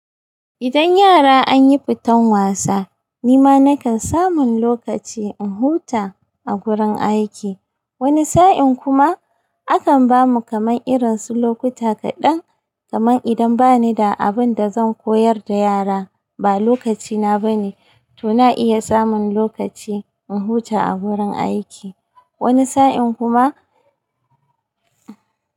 Idan yara an yi futan wasa, ni ma na kan samu lokaci in huta a gurin aiki. Wani sa'in kuma akan ba mu kamar irin su lokuta kaɗan, kamar idan ba ni da abin da zan koyar da yara, ba lokacina ba ne, to na iya samun lokaci in huta a gurin aiki. Wani sa'in kuma.